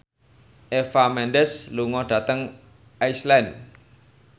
Eva Mendes lunga dhateng Iceland